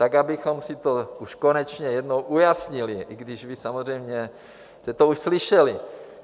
Tak abychom si to už konečně jednou ujasnili, i když vy samozřejmě jste to už slyšeli.